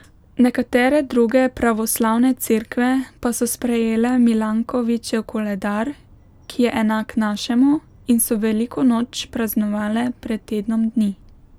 Nekatere druge pravoslavne cerkve pa so sprejele Milankovićev koledar, ki je enak našemu, in so veliko noč praznovale pred tednom dni.